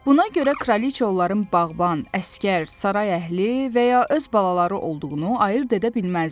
Buna görə kraliça onların bağban, əsgər, saray əhli və ya öz balaları olduğunu ayırd edə bilməzdi.